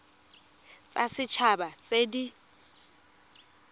tsa set haba tse di